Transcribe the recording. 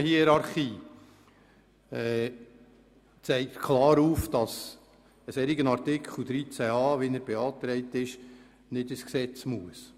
Die Normenhierarchie zeigt klar auf, dass ein solcher Artikel 13a (neu) wie er beantragt ist, nicht ins Gesetz muss.